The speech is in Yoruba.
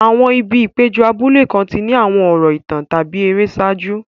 Àwọn ibi ìpéjọ abúlé kan ti ní àwọn ọ̀rọ̀ ìtàn tàbí ère ṣáájú.